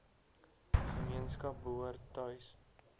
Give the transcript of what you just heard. gemeenskap behoort tuis